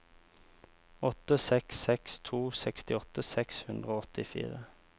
åtte seks seks to sekstiåtte seks hundre og åttifire